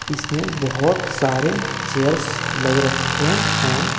इसमें बहोत सारे चेयर्स लग रखे हैं।